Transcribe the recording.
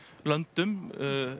löndum